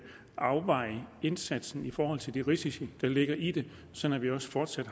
afveje indsatsen i forhold til de risici der ligger i det sådan at vi også fortsat